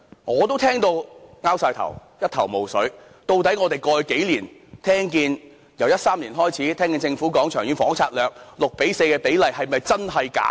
我聽到一頭霧水，究竟我們過去數年所聽，由2013年開始，政府表示《長遠房屋策略》6：4 的比例是真還是假的呢？